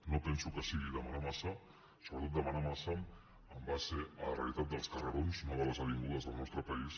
no penso que sigui demanar massa sobretot demanar massa en base a la realitat dels carrerons no de les avingudes del nostre país